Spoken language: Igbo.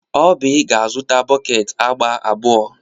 Oby ga-azụta bọket agba abụọ.